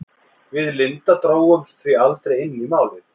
Við Linda drógumst því aldrei inn í Málið.